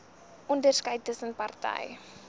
onderskeid tussen party